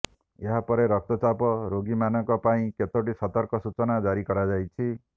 ଏହାପରେ ରକ୍ତଚାପ ରୋଗୀମାନଙ୍କ ପାଇଁ କେତୋଟି ସତର୍କ ସୂଚନା ଜାରି କରାଯାଇଛି